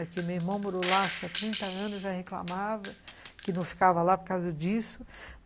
É que meu irmão morou lá, acho que há trinta anos, já reclamava que não ficava lá por causa disso.